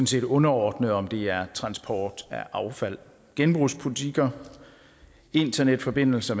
set underordnet om det er transport af affald genbrugspolitikker internetforbindelser